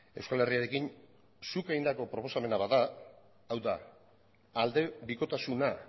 euskal herriarekin zuk egindako proposamena bada hau da aldebikotasuna